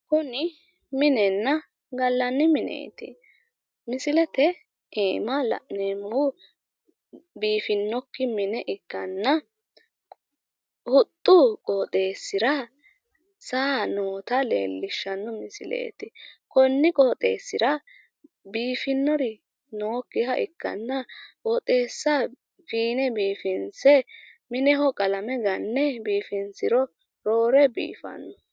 Kuni minenna gallanni mineeti. misilete aana la'neemmohu biifinokki mine ikkanna huxxu qooxeessira saa noota leellishshanno misileeti. konni qooxeessira biifinori nookkiha ikkanna qooxeessa fiine biifinse mineho qalame ganne biifinsiro roore biifanno.